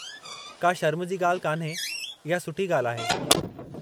का शर्मु जी ॻाल्हि कान्हे, इहा सुठी ॻाल्हि आहे।